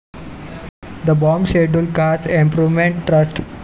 the Bombay scheduled caste improvement trust